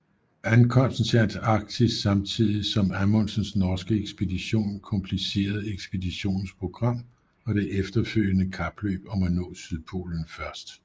Ankomsten til Antarktis samtidig som Amundsens norske ekspedition komplicerede ekspeditionens program og det efterfølgende kapløb om at nå sydpolen først